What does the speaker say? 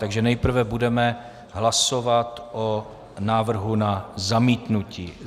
Takže nejprve budeme hlasovat o návrhu na zamítnutí.